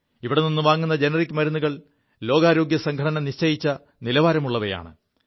ഇവിടെ നിു വാങ്ങു ജനറിക് മരുുകൾ ലോകാരോഗ്യസംഘടന നിശ്ചയിച്ച നിലവാരം ഉള്ളവയാണ്